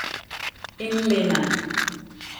In lena.